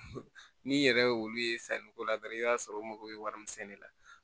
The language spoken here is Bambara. N'i yɛrɛ ye olu ye sanniko la dɔrɔn i b'a sɔrɔ u mago bɛ wari min sɛnɛ ne la